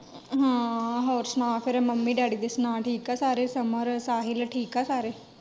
ਹਾਂ, ਹੋਰ ਸੁਣਾ ਫੇਰ ਮੰਮੀ ਡੈਡੀ ਦੀ ਸੁਣਾ ਠੀਕ ਆ ਸਾਰੇ, ਸਮਰ ਸਾਹਿਲ ਠੀਕ ਆ ਸਾਰੇ।